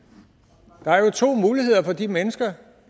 nej og jo to muligheder for de mennesker